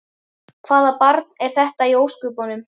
Hvaða barn var þetta í ósköpunum?